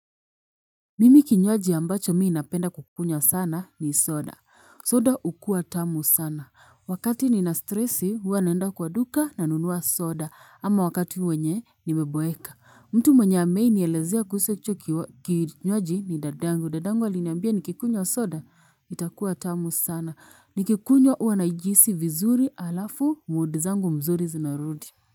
Mimi kinywaji ambacho mi napenda kukunywa sana ni soda. Soda ukua tamu sana. Wakati nina stresi hua naenda kwa duka nanunua soda ama wakati wenye nimeboeka. Mtu mwenye ameinielezea kuhusu hicho kinywaji ni dadangu. Dadangu aliniambia nikikunywa soda itakuwa tamu sana. Nikikunywa huwa naijisi vizuri alafu muudi zangu mzuri zinarudi.